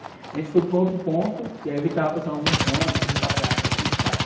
A gente foi para outro ponto, e aí eu vi que estava passando alguns ônibus e tal, falei, ah, acho que aqui passa.